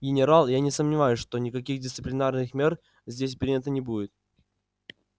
генерал я не сомневаюсь что никаких дисциплинарных мер здесь принято не будет